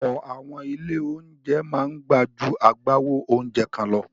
Ọ̀pọ̀ àwọn ilé-oúnjẹ máa gbà ju agbáwo oúnjẹ kan lọ.